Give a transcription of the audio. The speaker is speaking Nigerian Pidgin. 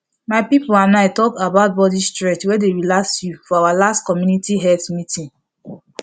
my people and i talk about body stretch wey dey relax you for our last community health meeting